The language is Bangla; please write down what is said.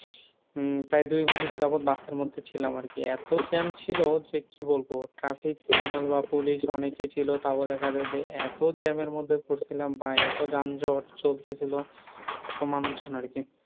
হম প্রায় দুই ঘন্টা যাবৎ বাসের মধ্যে ছিলাম আর কি। এত jam ছিল যে কি বলবো? traffic signal বা পুলিশ অনেকে ছিল তা বাদে তারমধ্যে এত jam এর মধ্যে পড়ছিলাম ভাই এত যানজট চলতেছিল, এত মানুষজন আরকি।